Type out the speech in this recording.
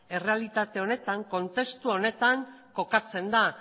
errealitate honetan kontestu honetan kokatzen da